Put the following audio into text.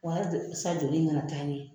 Wa halisa jɔli in kana taa ɲɛ